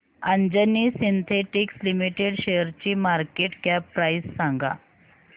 Anjani synthetics limited शेअरची market cap price सांगा